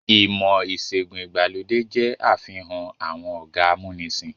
Ìmọ̀-ìṣẹ̀gùn ìgbàlódé jẹ́ àfihàn àwọn ọ̀gá amúnisìn.